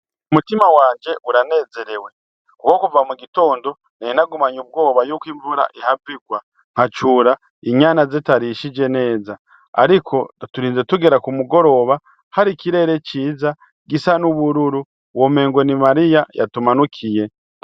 Umutima wanje uranezerewe, kuko kuva mu gitondo nari nagumanye ubwoba yuko imvura ihava igwa nkacura inyana zitarishije neza, ariko turinze tugera ku mugoroba hari ikirere ciza gisa n'ubururu womengo ni Mariya yatumanukiye.